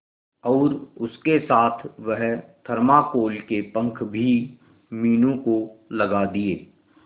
और उसके साथ वह थर्माकोल के पंख भी मीनू को लगा दिए